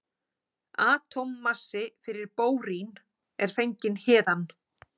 Atómmassi fyrir bórín er fenginn héðan.